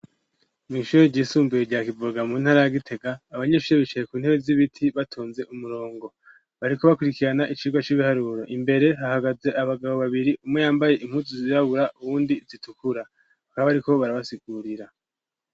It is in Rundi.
Mw'ishuri ryisumbuye rya kivoga mu ntara ya gitega abanyeshure bicaye ku ntebe z'ibiti batonze umurongo bariko bakurikirana icirwa c'ibiharuro imbere hahagaze abagabo babiri umwe yambaye imputu zirabura uwundi zitukura bakaba bariko barabasigurira.